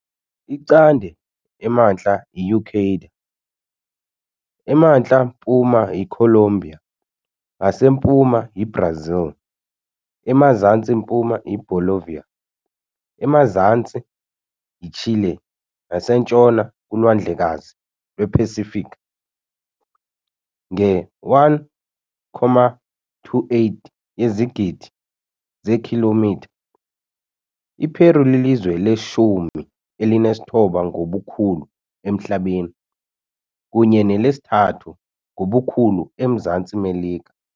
Icande emntla yi Ecuador, emantla mpuma yiColombia, ngasempuma yiBrazil, emazantsi mpuma yiBolivia, emazantsi yiChile nasentshona kuLwandlekazi lwePasifiki . Nge-1.28 yezigidi zeekhilomitha, iPeru lilizwe leshumi elinesithoba ngobukhulu emhlabeni, kunye nelesithathu ngobukhulu eMzantsi Melika.